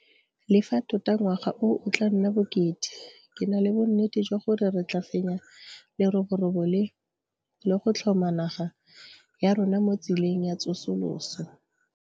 Le fa tota ngwaga o o tla nna bokete, ke na le bonnete jwa gore re tla fenya leroborobo le, le go tlhoma naga ya rona mo tseleng ya tsosoloso.